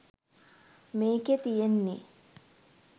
මේකේ තියෙන්නේ